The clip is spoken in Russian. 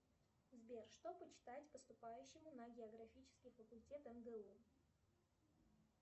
сбер что почитать поступающему на географический факультет мгу